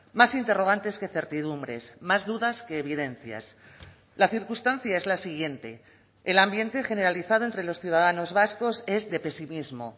más interrogantes que certidumbres más dudas que evidencias la circunstancia es la siguiente el ambiente generalizado entre los ciudadanos vascos es de pesimismo